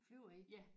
Flyver I?